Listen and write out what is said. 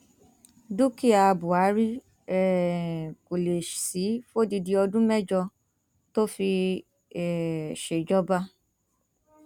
dúkìá buhari um kò lè sí i fódìdì ọdún mẹjọ tó fi um ṣèjọba